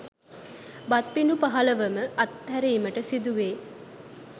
බත් පිඬු පහළොව ම අත්හැරීමට සිදුවේ.